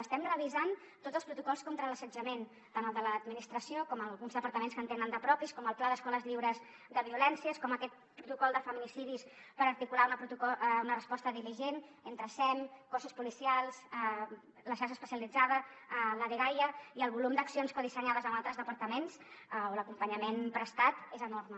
estem revisant tots els protocols contra l’assetjament tant el de l’administració com el d’alguns departaments que en tenen de propis com el pla d’escoles lliures de violències com aquest protocol de feminicidis per articular una resposta diligent entre sem cossos policials la xarxa especialitzada la dgaia i el volum d’accions codissenyades amb altres departaments on l’acompanyament prestat és enorme